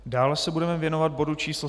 Dále se budeme věnovat bodu číslo